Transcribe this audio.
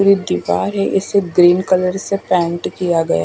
दीवार है इसे ग्रीन कलर से पेंट किया गया--